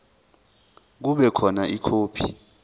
kube khona ikhophi